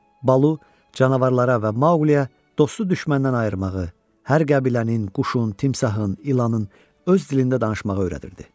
Balu canavarlara və Mauliyə dostu düşməndən ayırmağı, hər qəbilənin, quşun, timsahın, ilanın öz dilində danışmağı öyrədirdi.